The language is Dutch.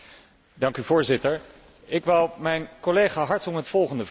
Voorzitter, ik wou mijn collega Hartong het volgende vragen.